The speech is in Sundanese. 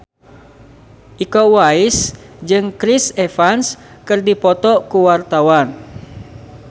Iko Uwais jeung Chris Evans keur dipoto ku wartawan